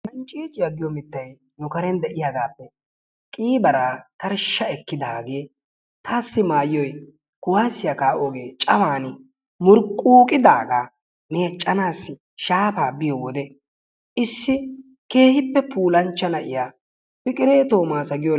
Hanciicciya giyo mittay nu karen diyaagaappe qiibaraa tarshsha ekkiddaagee taassi maayoy kuwaasiya kaa'oogee cawaani muruquuqidaaga meecanasi shaafa biyo wode issi keehippe puulanchchaa na'iya Piqire Toomasa giyo..